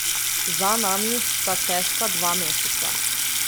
Za nami sta težka dva meseca.